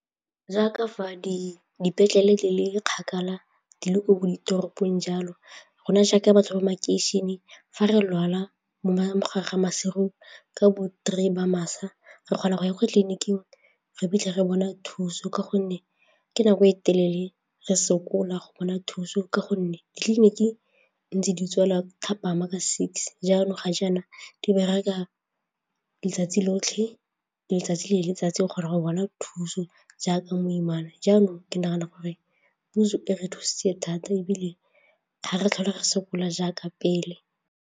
Kaaka fa dipetlele le le kgakala di le ko ditoropong jalo, rona jaaka batho ba makeišeneng fa re lwala mo gare ga masigo, ka bo-three ba masa re kgona go ya kwa tleliniking re fitlhe re bone thuso ka gonne ke nako e telele re sokola go bona thuso ka gonne ditleliniki ntse di tswalwa thapama ke six jaanong ga jaana di bereka letsatsi lotlhe, letsatsi le letsatsi gore go bona thuso jaaka moimana jaanong ke nagana gore puso e re thusitse thata ebile ga re tlhole re sokola jaaka pele.